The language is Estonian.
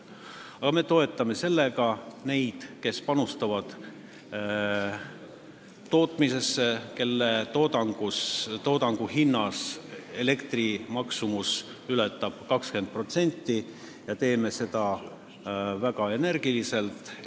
Aga me toetame sellega neid, kes panustavad tootmisesse, kelle toodangu hinnas elektri maksumus ületab 20%, ja teeme seda väga energiliselt.